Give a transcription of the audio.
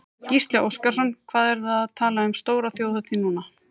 Gísli Óskarsson: Hvað eruð þið að tala um stóra þjóðhátíð núna?